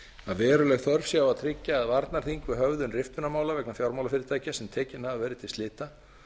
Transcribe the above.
að veruleg þörf sé á að tryggja að varnarþing við höfðun riftunarmála vegna fjármálafyrirtækja sem tekin hafa verið til slita